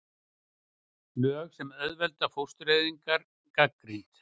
Lög sem auðvelda fóstureyðingar gagnrýnd